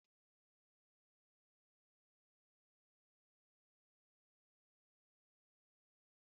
Akụkọ mgbe ochie na-akọ akụkọ na-akpali akpali nke ahụmahụ na ndị mmadụ